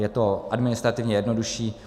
Je to administrativně jednodušší.